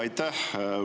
Aitäh!